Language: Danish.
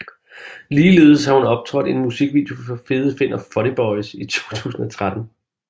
Ligeledes har hun optrådt i en musikvideo for Fede Finn og Funny Boyz i 2013